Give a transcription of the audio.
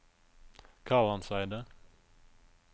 Kalandseidet